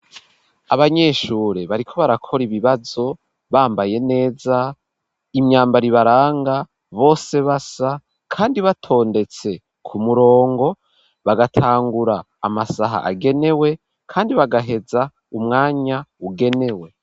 Abanyeshure bariko barakora ibibazo bambaye neza, imyambaro ibaranga bose basa kandi batondetse ku murongo bagatangura amasaha agenewe kandi bagaheza umwanya ugenewe.